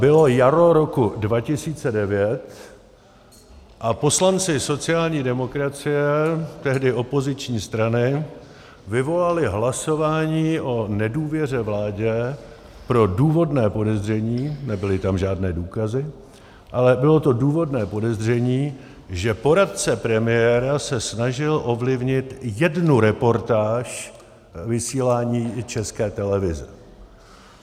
Bylo jaro roku 2009 a poslanci sociální demokracie, tehdy opoziční strany, vyvolali hlasování o nedůvěře vládě pro důvodné podezření, nebyly tam žádné důkazy, ale bylo to důvodné podezření, že poradce premiéra se snažil ovlivnit jednu reportáž vysílání České televize.